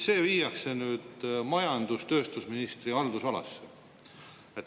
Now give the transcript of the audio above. See viiakse nüüd majandus- ja tööstusministri haldusalasse.